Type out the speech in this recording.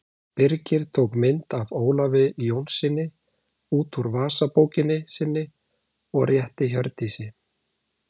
Birkir tók mynd af Ólafi Jónssyni út úr vasabókinni sinni og rétti Hjördísi.